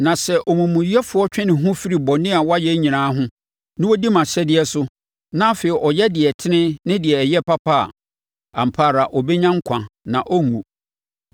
“Na sɛ omumuyɛfoɔ twe ne ho firi bɔne a wayɛ nyinaa ho, na ɔdi mʼahyɛdeɛ so, na afei ɔyɛ deɛ ɛtene ne deɛ ɛyɛ papa a, ampa ara ɔbɛnya nkwa na ɔrenwu.